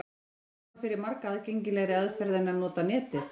Fljótvirkari og fyrir marga aðgengilegri aðferð er að nota Netið.